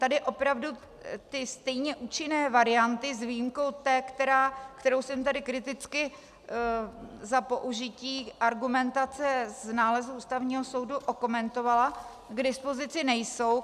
Tady opravdu ty stejně účinné varianty s výjimkou té, kterou jsem tady kriticky za použití argumentace z nálezů Ústavního soudu okomentovala, k dispozici nejsou.